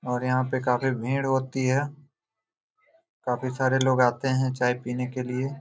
और यहाँ पे बहुत भीड़ होती है काफी सारे लोग आते है चाय पिने के लिए।